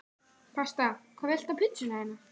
Pasta Hvað vilt þú fá á pizzuna þína?